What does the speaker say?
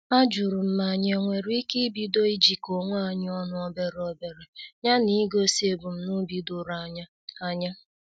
Ajurum ma anyị enwere ike ibido ijiko onwe anyị ọnụ obere obere ya na igosi ebumnobi doro anya. anya.